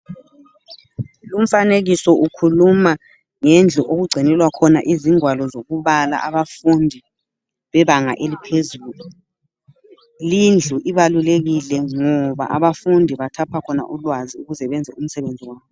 Lomfanekiso ukhuluma ngendlu okugcinelwa khona izingwalo zokubala abafundi bebanga eliphezulu, lindlu ibalukekile ngoba abafundi bathapha khona ulwazi ukuze benze umsebenzi wabo.